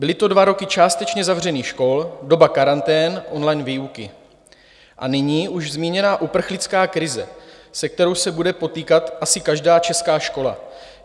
Byly to dva roky částečně zavřených škol, doba karantén, online výuky, a nyní už zmíněná uprchlická krize, se kterou se bude potýkat asi každá česká škola.